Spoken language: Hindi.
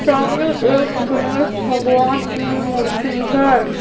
सामने एक गणेश भगवान की मूर्ति है।